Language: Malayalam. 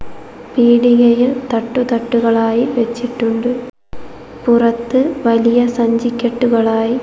പീടികയിൽ തട്ടുതട്ടുകളായി വെച്ചിട്ടുണ്ട് പുറത്തു വലിയ സഞ്ചി കെട്ടുകളായി--